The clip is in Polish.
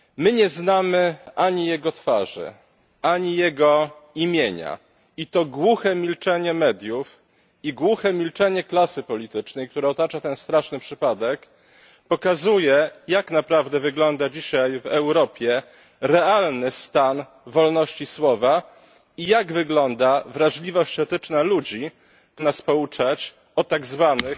Nie znamy ani jego twarzy, ani jego imienia i to głuche milczenie mediów, i głuche milczenie klasy politycznej, które otacza ten straszny przypadek, pokazuje, jak naprawdę wygląda dzisiaj w Europie realny stan wolności słowa i jak wygląda wrażliwość etyczna ludzi, którzy tak bardzo lubią nas pouczać o tak zwanych